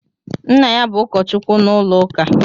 Nna ya bú ụkọchukwu n'ụlọuka